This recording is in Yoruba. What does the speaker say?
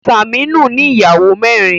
Saminu ní Ìyàwó mẹrin.